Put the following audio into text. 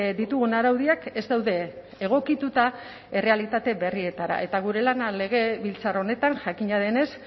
ditugun araudiak ez daude egokituta errealitate berrietara eta gure lana legebiltzar honetan jakina denez